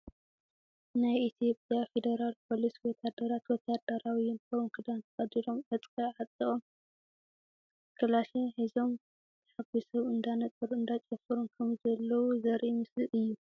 ናይ ኢትዮጵያ ፌደራል ፖሊስ ወታደራት ወታሃደራዊ ዩኒፎርም ክዳን ተከዲኖም ዕጥቂ ኣጢቆም ካላሽን ሒዞም ተሓጉሶም እንዳነጠሩን እንዳጨፈሩን ከምዘለዉ ዘርኢ ምስሊ እዩ።